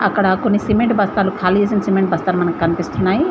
అక్కడ కొన్ని సిమెంట్ బస్తాలు ఖాళీ చేసిన సిమెంట్ బస్తాలు మనకనిపిస్తున్నాయి.